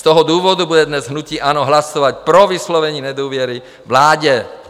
Z toho důvodu bude dnes hnutí ANO hlasovat pro vyslovení nedůvěry vládě.